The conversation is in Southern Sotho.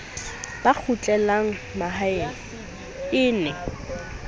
ba kgutlelang mahae e ne